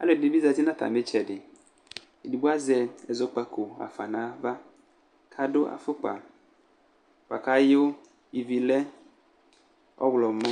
Alʋɛdɩnɩ bɩ zati nʋ atamɩ ɩtsɛdɩ Edigbo azɛ ɛzɔkpako ɣa fa nʋ ava kʋ adʋ afʋkpa bʋa kʋ ayʋ ivi lɛ ɔɣlɔmɔ